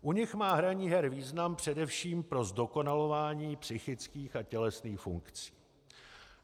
U nich má hraní her význam především pro zdokonalování psychických a tělesných funkcí.